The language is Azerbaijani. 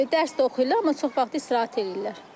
Dərs də oxuyurlar, amma çox vaxtı istirahət eləyirlər.